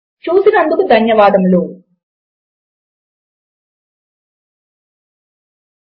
చూసినందుకు ధన్యవాదములు ఈ స్క్రిప్ట్ రచనకు సహకరించిన వారు భరద్వజ్ మరియు నిఖిల